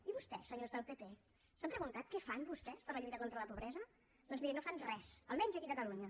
i vostès senyors del pp s’han preguntat què fan vostès per la lluita contra la pobresa doncs miri no fan res almenys aquí a catalunya